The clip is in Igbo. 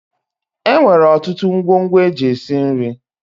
E nwere ọtụtụ ngwongwo e ji esi nri.